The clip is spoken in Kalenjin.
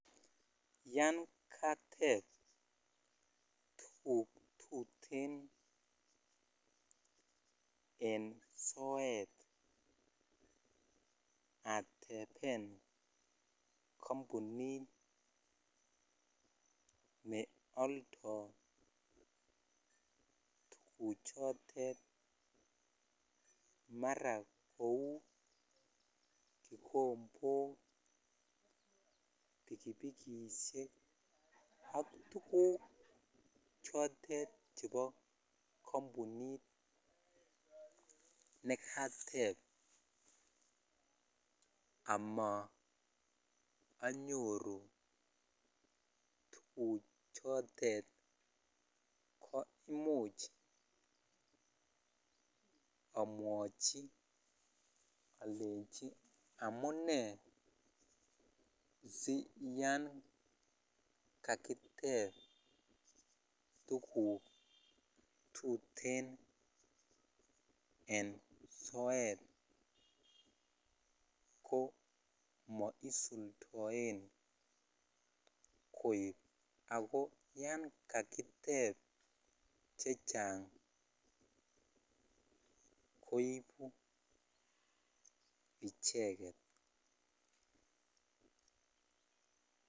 Yan kateb tuguk tutee en soet ateben kampunit ne oldoi tuguk chotet mara kou kikombok ,bikibikishek ak tuguk chotet chebo kampunit nekatep amaanyoru tuguk chotet ko imuch amwochi alechi amunei siyan kakitep tuguk tutee en siet ko moisuldoen koib ako yan kakitep chechang koibu icheket.